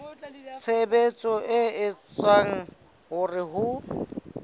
tshebetso e etsang hore ho